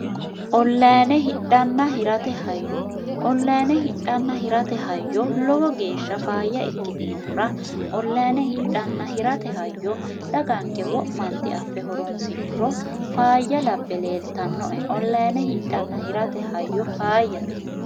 ollaine hidhanna hirate hayyo ollaine hidhanna hirate hayyo lowo geeshsha faayya ikkitinohura ollaine hidhanna hirate hayyo daganke wo'manti affe horonsixuro faayya lape leeltannoe ollaine hidhanna hirate hayyo faayyate